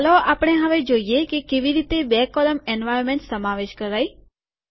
ચાલો આપણે હવે જોઈએ કે કેવી રીતે બે કૉલમ એટલેકે સ્તંભ એન્વાર્નમેન્ટ સમાવેશ કરાય